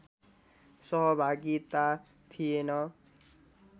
सहभागिता थिएन